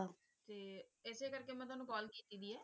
ਤੇ ਇਸੇ ਕਰਕੇ ਮੈਂ ਤੁਹਾਨੂੰ call ਕੀਤੀ ਵੀ ਹੈ